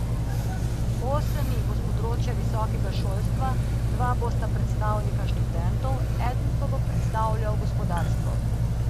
Osem jih bo s področja visokega šolstva, dva bosta predstavnika študentov, eden pa bo predstavljal gospodarstvo.